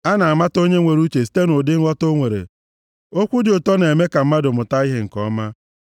A na-amata onye nwere uche site nʼụdị nghọta o nwere. Okwu dị ụtọ na-eme ka mmadụ mụta ihe nke ọma.